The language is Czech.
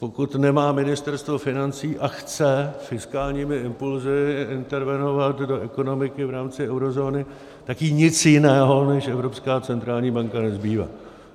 Pokud nemá ministerstvo financí a chce fiskálními impulsy intervenovat do ekonomiky v rámci eurozóny, tak jí nic jiného než Evropská centrální banka nezbývá.